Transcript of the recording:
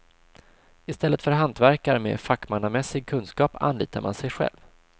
I stället för hantverkare med fackmannamässig kunskap anlitar man sig själv.